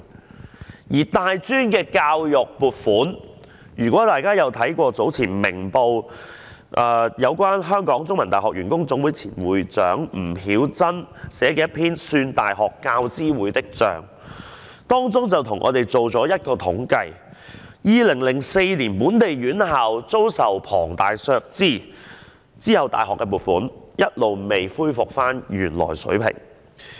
對於大專的教育撥款，如果大家有看過早前《明報》刊登一篇由香港中文大學員工總會前會長吳曉真寫的文章——"算大學教資會的帳"的話，便知道她為我們做了一項統計，指2004年本地院校遭受龐大的削資，自此整體大學撥款一直未恢復原來水平。